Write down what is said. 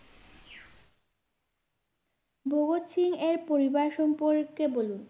ভগৎ সিংএর পরিবার সম্পর্কে বলুন?